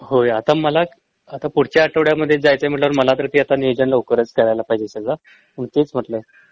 होय आता मला आता पुढच्या आठवड्या मध्ये जायचंय म्हटल्यावर मला तर ते आता नियोजन लवकरच करायला पाहिजे सगळं मग तेच म्हटलं